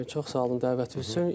Çox sağ olun, dəvətiniz üçün.